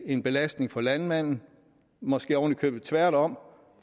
en belastning for landmanden måske ovenikøbet tværtom